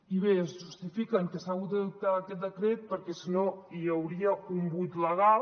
i bé justifiquen que s’ha hagut d’adoptar aquest decret perquè si no hi hauria un buit legal